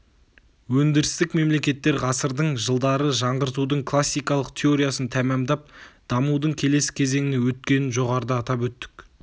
өндірістік мемлекеттер ғасырдың жылдары жаңғыртудың классикалық теориясын тәмамдап дамудың келесі кезеңіне өткенін жоғарыда атап өттік